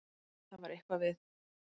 En það var eitthvað við